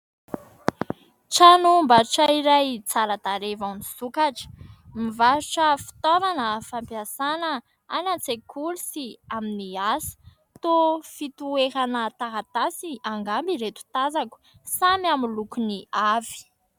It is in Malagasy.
Tranom-barotra iray tsara tarehy vao nisokatra. Mivarotra fitaovana fampiasana any an-tsekoly sy amin'ny asa. Toa fitoerana taratasy angamba ireto tazako, samy amin'ny lokony avy.